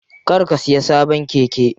Kar ka siya sabon keke.